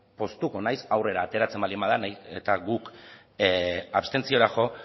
poztuko naiz aurrera ateratzen baldin bada nahiz eta guk abstentziora jo